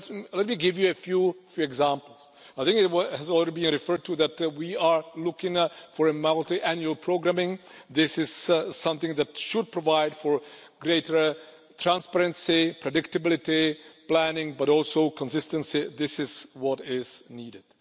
Let me give you a few examples. I think it has already been referred to that we are looking for multiannual programming. This is something that should provide for greater transparency, predictability and planning, but also consistency. This is what is needed.